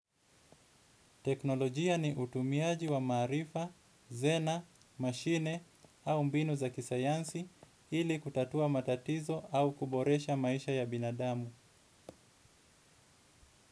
Teknolojia ni utumiaji wa maarifa, zana, mashine au mbinu za kisayansi ili kutatua matatizo au kuboresha maisha ya binadamu.